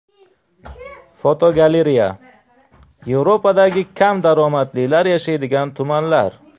Fotogalereya: Yevropadagi kam daromadlilar yashaydigan tumanlar.